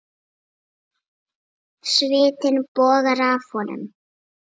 Svitinn bogar af honum.